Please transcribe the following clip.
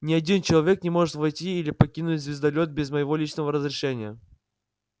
ни один человек не может войти или покинуть звездолёт без моего личного разрешения